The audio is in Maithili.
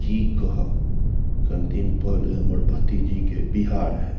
की कहब कएण दिन पहले हमर भतीजी के बिहा रहे --